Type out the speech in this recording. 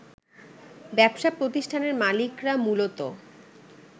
ব্যবসা প্রতিষ্ঠানের মালিকরা মূলত